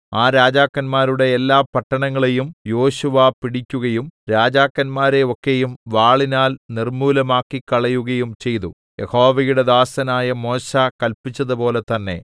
ആ രാജാക്കന്മാരുടെ എല്ലാ പട്ടണങ്ങളെയും യോശുവ പിടിക്കുകയും രാജാക്കന്മാരെ ഒക്കെയും വാളിനാൽ നിർമ്മൂലമാക്കിക്കളയുകയും ചെയ്തു യഹോവയുടെ ദാസനായ മോശെ കല്പിച്ചതുപോലെ തന്നേ